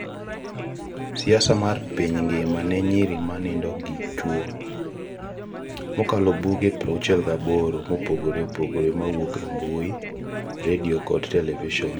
Picha: #NosDuelen56: siasa mar Piny Ngima ne Nyiri ma Nindo gi Chwo Twitter: mokalo buge 68 mopogore opogore mawuok e mbui, redio kod televison,